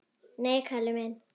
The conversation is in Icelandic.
Nei, Kalli minn.